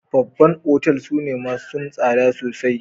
Babban otal sune massun sada sosai.